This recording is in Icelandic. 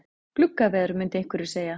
Gluggaveður myndu einhverjir segja.